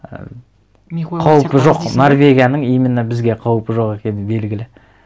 і қаупі жоқ норвегияның именно бізге қаупі жоқ екені белгілі